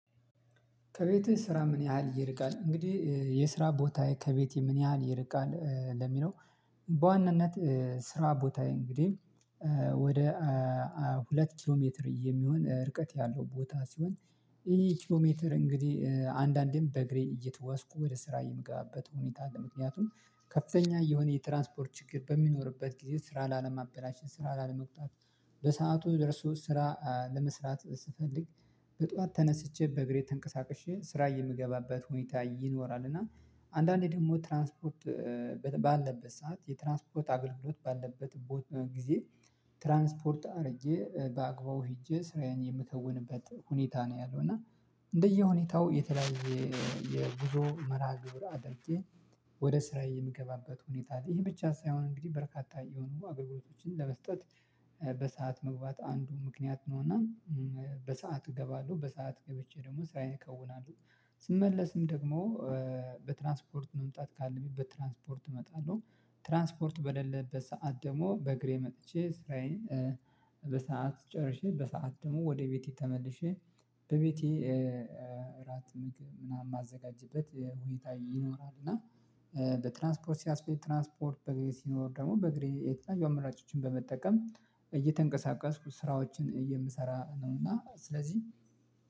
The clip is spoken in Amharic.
ከቤቴ ስራ ምን ያህል ይርቃል እንግዲህ የስራ ቦታዬ ከቤቴ ምን ያህል ይርቃል ለሚለው? በዋናነት ስራ ቦታየ እንግዲህ ወደ ሁለት ኪሎ ሜትር የሚሆን ርቀት ያለው ቦታ ሲሆን እሂ ኪሎ ሜትር እንግዲህ አንዳንዴም በእግሬ እየተጓዝኩ ወደ ስራ የምገባበት ሁኔታ አለ። ምክንያቱም ከፍተኛ የሆነ የትራንስፖርት ችግር በሚኖርበት ጊዜ ስራ ላለማበላሸት ስራ ላለመቅጣት በሰአቱ ደርሶ ስራ ለመስራት ስፈልግ በጧት ተነስቼ በእግሬ ተንቀሳቅሼ ስራ የምገባበት ሁኔታ ይኖራል። እና አንዳንዴ ደግሞ ትራንስፖርት ባለበት ሰዓት የትራንስፖርት አገልግሎት ባለበት ጊዜ ትራንስፖርት አድርጌ በአግባቡ ሄጄ ስራዬን የምከውንበት ሁኔታ ነው ያለው። እና እንደየሁኔታው የተለያየ የጉዞ መርሃ ግብር አድርጌ ወደ ስራዬ የምገባበት ሁኔታ አለ። ይሄ ብቻ ሳይሆን እንግዲህ በርካታ የሆኑ አገልግሎቶችን ለመስጠት በሰአት መግባት አንዱ ምክንያት ነውና በሰአት እገባለሁ በሰአት ገብቼ ደግሞ ሳይከውናለሁ። ስመለስም ደግሞ በትራንስፖርት መምጣት ካለብኝ በትራንስፖርት እመጣለሁ ትራንስፖርት በሌለበት ሰዓት ደግሞ በእግሬ መጥቼ ስራዬን በሰአት ጨርሼ በሰአት ደግሞ ወደ ቤቴ ተመልሼ በቤቴ እራት ምግብ ምናምን የማዘጋጀበት ሁኔታ ይኖራል። እና በትራንስፖርት ሲያስፈልግ ትራንስፖርት በግሬ ሲኖር ደግሞ በግሬ የተለያዩ አመራጮችን በመጠቀም እየተንቀሳቀስኩ ስራዎችን እየምሰራ ነው እና ስለዚህ